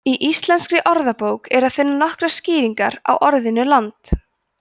í íslenskri orðabók er að finna nokkrar skýringar á orðinu land